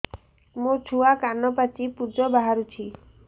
ମୋ ଛୁଆ କାନ ପାଚି ପୂଜ ବାହାରୁଚି